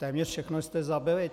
Téměř všechno jste zabili.